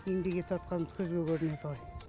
еңбек етіватқанымыз көзге көрінеді ғой